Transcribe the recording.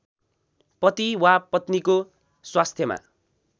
पति वा पत्नीको स्वास्थ्यमा